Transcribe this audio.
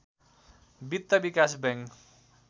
वित्त विकास बैंक